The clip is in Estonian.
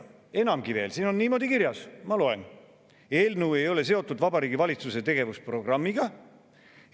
Enamgi veel, siin on niimoodi kirjas, ma loen: "Eelnõu ei ole seotud Vabariigi Valitsuse tegevusprogrammiga.